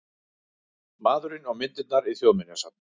Maðurinn og myndirnar í Þjóðminjasafni